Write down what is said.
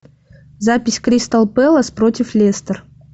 запись кристал пэлас против лестер